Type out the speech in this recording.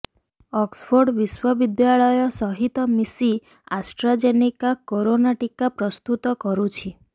Oxford ବିଶ୍ବବିଦ୍ୟାଳୟ ସହିତ ମିଶି ଆଷ୍ଟ୍ରାଜେନିକା କରୋନା ଟିକା ପ୍ରସ୍ତୁତ କରୁଛି